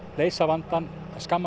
leysa vandann á skamman